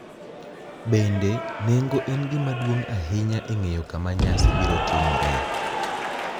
Bende, nengo en gima duong’ ahinya e ng’eyo kama nyasi biro timoree;